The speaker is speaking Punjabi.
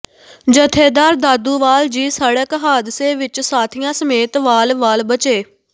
ਜਥੇਦਾਰ ਦਾਦੂਵਾਲ ਜੀ ਸੜਕ ਹਾਦਸੇ ਵਿੱਚ ਸਾਥੀਆਂ ਸਮੇਤ ਵਾਲ ਵਾਲ ਬਚੇ